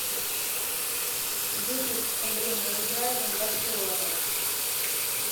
выпуск с андреем разыграевым барселона